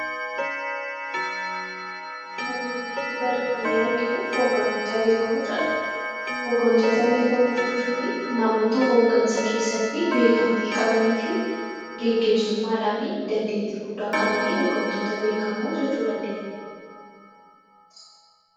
Armaan olitti barreeffamni arginu 'hooggantoota beekamoo' jedha. Hooggantoota beekamoo jechuuni namoota hooggansa keessatti beekamtii qabamanii fi geggeessummaadhaani dandeettii guddaa qabani hooggantoota beekamoo jechuu dandeenya.